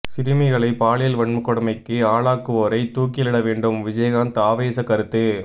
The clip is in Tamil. சிறுமிகளை பாலியல் வன்கொடுமைக்கு ஆளாக்குவோரை தூக்கிலிட வேண்டும் விஜயகாந்த் ஆவேச கருத்து